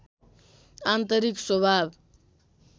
आन्तरिक स्वभाव